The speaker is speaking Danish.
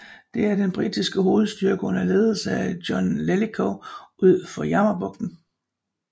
Det var den britiske hovedstyrke under ledelse af John Jellicoe ud for Jammerbugten